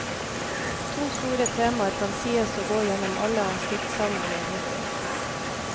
To store temaer kan sies å gå gjennom alle hans diktsamlinger hittil.